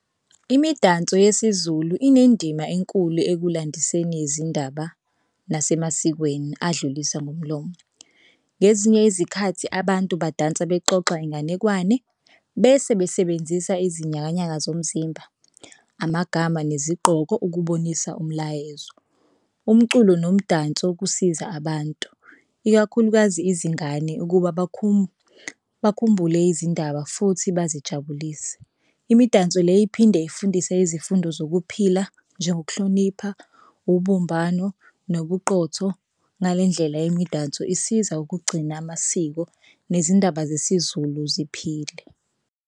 Imidanso yesiZulu inendima enkulu ekulandiseni izindaba nasemasikweni adlulisa ngomlomo. Ngezinye izikhathi abantu badansa bexoxa inganekwane bese besebenzisa izinyakanyaka zomzimba, amagama, nezingqoko ukubonisa umlayezo. Umculo nomdanso kusiza abantu ikakhulukazi izingane ukuba bakhumbule izindaba futhi bazijabulise. Imidanso le iphinde ifundise izifundo zokuphila njengokuhlonipha ubumbano nobuqotho ngale ndlela yemedanso isiza ukugcina amasiko nezindaba zesiZulu ziphile.